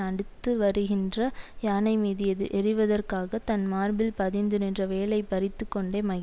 அடுத்து வருகின்ற யானை மீது எர்எறிவதற்காகத் தன் மார்பில் பதிந்து நின்ற வேலை பறித்து கொண்டே மகிழ்